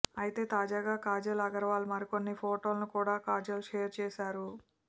అయితే తాజాగా కాజల్ అగర్వాల్ మరికొన్ని ఫోటోలను కూడా కాజల్ షేర్ చేశారు